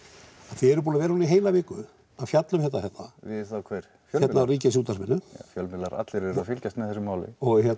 þið eruð búin að vera núna í heila viku að fjalla um þetta hérna við þá hver hérna á Ríkisútvarpinu fjölmiðlar allir eru að fylgjast með þessu máli